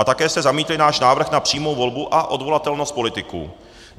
A také jste zamítli náš návrh na přímou volbu a odvolatelnost politiků.